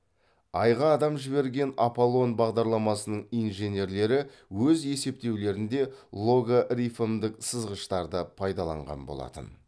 айға адам жіберген аполлон бағдарламасының инженерлері өз есептеулерінде логарифмдік сызғыштарды пайдаланған болатын